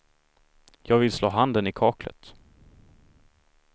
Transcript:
Jag vill slå handen i kaklet.